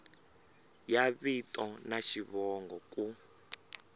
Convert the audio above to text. ya vito na xivongo ku